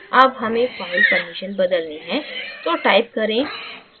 अब हमें file permission बदलनी है तो type करें